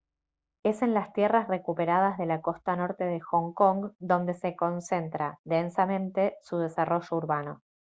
es en las tierras recuperadas de la costa norte de hong kong donde se concentra densamente su desarrollo urbano